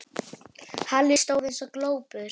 Halli stóð eins og glópur.